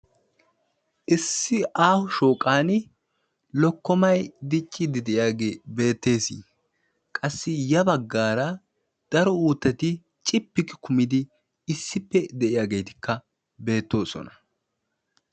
Issi aaho shooqan lokkomay dicciiddi diyagee beettess. Qassi ya baggaara daro uuttati cippi kumidi issippe de'iyageetikka beettoosona.